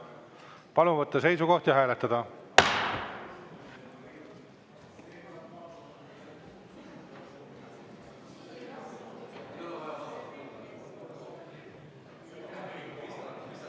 Palun võtta seisukoht ja hääletada!